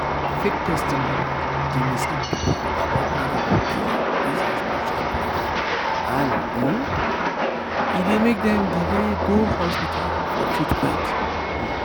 fake testimony dey mislead people about miracle cure based on spiritual belief and um e dey make dem delay go hospital for treatment. um